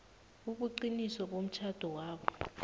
ubuqiniso bomtjhado lowo